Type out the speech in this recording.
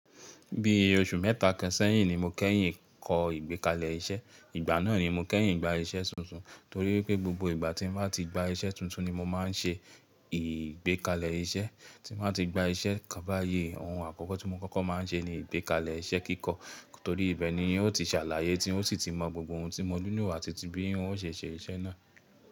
Bí oṣù mẹ́ta kan sẹ́yìn ni mo kẹ́yìn kọ ìgbékalẹ̀ iṣẹ́. Ìgbà náà ni mo kẹ́yìn gba iṣẹ́ tuntun, torí pé gbogbo ìgbà tí mo bá ti gba iṣẹ́ tuntun ni mo máa ń ṣe ìgbékalẹ̀ iṣẹ́. Tí mo bá ti gba iṣẹ́, kán báyi ohun àkọ́kọ́ tí mo kọ́kọ́ máa ń ṣe ni ìgbékalẹ̀ iṣẹ́ kíkọ́, torí ibẹ̀ ni hun o ti ṣàlàyé tí ó sì ti mọ gbogbo ohun tí mo nilo àti ti bí hun ó ṣe ṣe iṣẹ́ náà.